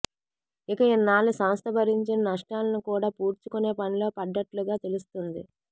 ఇక ఇన్నాళ్లు సంస్థ భరించిన నష్టాలను కూడా పూడ్చుకునే పనిలో పడ్డట్లుగా తెలుస్తుంది